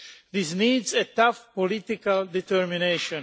This needs a tough political determination.